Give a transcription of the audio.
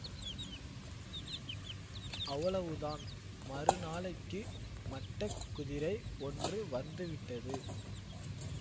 அவ்வளவு தான் மறு நாளைக்கு மட்ட குதிரை ஒன்று வந்துவிட்டது